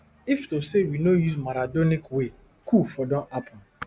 if to say we no use maradonic way coup for don happun